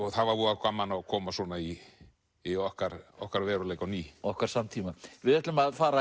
það var voða gaman að koma svona í í okkar okkar veruleika á ný okkar samtíma við ætlum að fara